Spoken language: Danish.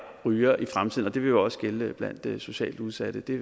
rygere i fremtiden og det vil jo også gælde blandt de socialt udsatte det